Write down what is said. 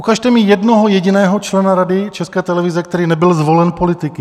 Ukažte mi jednoho jediného člena Rady České televize, který nebyl zvolen politiky!